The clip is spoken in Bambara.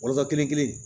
Walotɔ kelen